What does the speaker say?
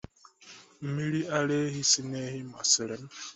Mmiri ara ehi si na ehi masịrị m